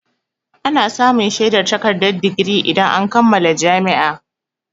Ana samun shaidar takardar digiri idan an kammala jami'a.